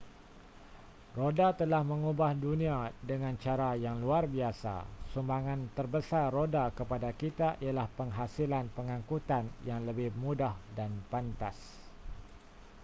roda telah mengubah dunia dengan cara yang luar biasa sumbangan terbesar roda kepada kita ialah penghasilan pengangkutan yang lebih mudah dan pantas